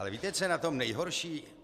Ale víte, co je na tom nejhorší?